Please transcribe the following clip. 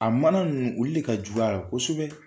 A mana ninnu ulu le ka jugu a la kosɛbɛ.